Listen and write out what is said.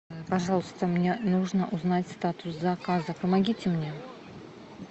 пожалуйста мне нужно узнать статус заказа помогите мне